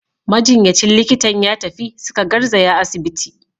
Majinyacin likitan ya tafi, suka garzaya asibiti.